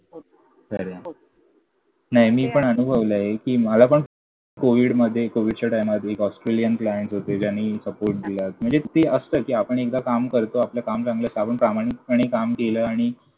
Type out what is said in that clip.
खरंय. नाही मी पण अनुभवलंय, कि मला पण कोविडमध्ये कोविडच्या टाईमात एक Australian client होते ज्यांनी support दिला. म्हणजे ते असतं. आपण एकदा काम करतो. आपलं काम चांगलं असतं. आपण प्रामाणिकपणे काम केलं आणि